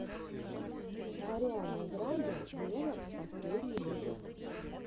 ариана гранде вево последний выпуск